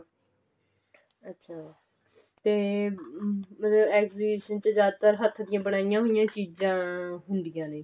ਅੱਛਾ ਤੇ ਮਤਲਬ exhibition ਚ ਜਿਆਦਾਤਰ ਹੱਥ ਦੀਆ ਬਣਾਈਆਂ ਹੋਈਆਂ ਚੀਜ਼ਾਂ ਹੁੰਦੀਆਂ ਨੇ